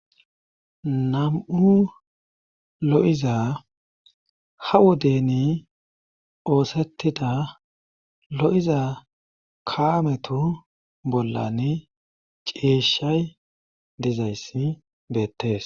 nam7u lo7iza ha wodeni oosettida lo7iza kaametu bollan ceeshay dezayssi beettees